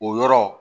O yɔrɔ